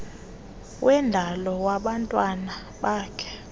wendalo wabantwana bakhe